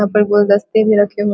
कुर्सी लगी हुई है --